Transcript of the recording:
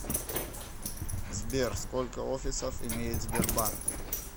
сбер сколько офисов имеет сбербанк